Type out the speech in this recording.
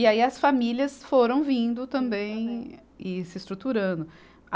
E aí as famílias foram vindo também e se estruturando.